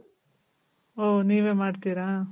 ಓ, ನೀವೆ ಮಾಡ್ತೀರಾ?